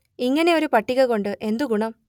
ഇങ്ങനെ ഒരു പട്ടിക കൊണ്ട് എന്തു ഗുണം